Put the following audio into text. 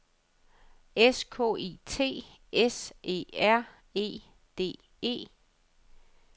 S K I T S E R E D E